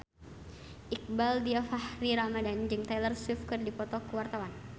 Iqbaal Dhiafakhri Ramadhan jeung Taylor Swift keur dipoto ku wartawan